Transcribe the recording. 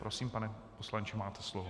Prosím, pane poslanče, máte slovo.